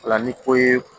O la ni ko ye